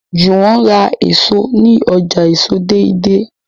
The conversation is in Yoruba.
Juwon rà èso ní ọjà èso deidei